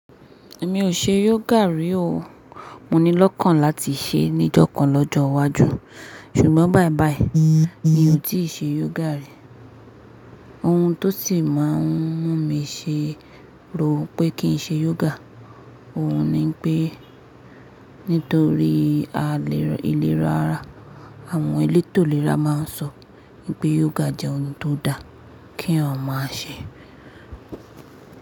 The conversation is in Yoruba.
Mi ò ṣe yoga rí o. Mo ní lọ́kàn láti ṣe ní ìjọ̀kan lọ́jọ́ iwájú. Ṣùgbọ́n bàìbàì mi ò tíì ṣe yoga rí. Ohun tó sì máa ń mú mi ṣe rò pé kí n ṣe yoga, òhun ni pé nítorí àle-ìlera ara. Àwọn ẹlẹ́tò ìlera máa ń sọ pé yoga jẹ́ ohun tó dà kí eeyan o ma se.